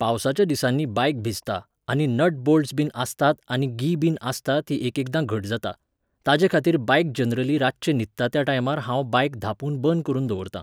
पावसाच्या दिसांनी बायक भिजता, आनी नट बोल्टस बीन आसतात आनी गी बीन आसता ती एकेकदां घट जाता. ताजेखातीर बायक जनरली रातचे न्हिदता त्या टायमार हांव बायक धांपून बंद करून दवरतां